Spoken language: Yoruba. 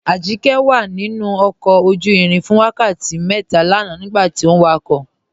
Ajíkẹ̀ wà nínu ọkọ̀ ojú-ìrìn fún wákàtí mẹ́tà lànà nígbàtí ọ wákọ̀